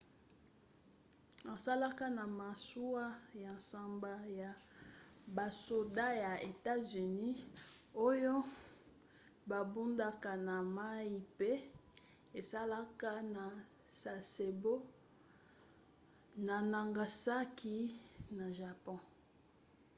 asalaka na masuwa ya nsambo ya basoda ya etats-unis oyo babundaka na mai mpe esalaka na sasebo na nagasaki na japon